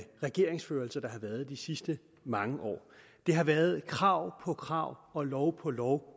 regeringsførelse der har været i de sidste mange år det har været krav på krav og lov på lov